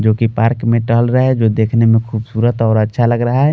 जो कि पार्क में टहल रहे है जो देखने में खूबसूरत और अच्छा लग रहा है।